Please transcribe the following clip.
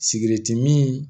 Sigɛrɛti min